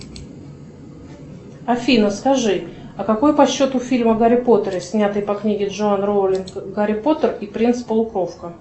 афина скажи а какой по счету фильм о гарри поттере снятый по книге джоан роулинг гарри поттер и принц полукровка